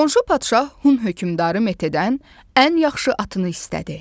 Qonşu padşah Hun hökmdarı Metedən ən yaxşı atını istədi.